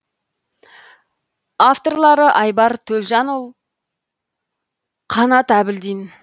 авторлары айбар төлжанұл қанат әбілдин